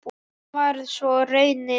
Sem varð svo raunin.